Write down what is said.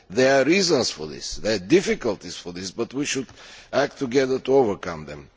There are reasons for this, there are difficulties with this, but we should act together to overcome them.